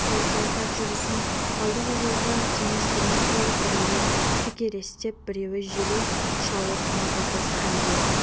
өзге аттар жүрісін қалдықызылға теңестірмек болып біреуі текіректеп біреуі желе шауып мазасыз халде